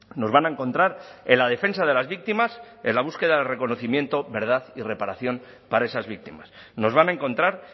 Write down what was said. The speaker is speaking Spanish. nos van a encontrar en la defensa de las víctimas en la búsqueda de reconocimiento verdad y reparación para esas víctimas nos van a encontrar